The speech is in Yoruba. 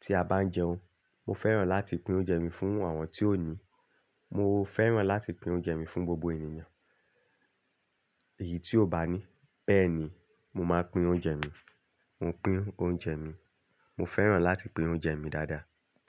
tí a bá ń jẹun. Mo fẹ́ràn láti pín oúnjẹ mi fún àwọn tí ò ní. Mo fẹ́ràn láti pín oúnjẹ mi fún gbogbo ènìyàn. Èyí tí ó bá ní. Bẹ́ẹ̀ ni mo máa pín oúnjẹ mi. Mo pín oúnjẹ mi. Mo fẹ́ràn láti pín oúnjẹ mi dáadáa.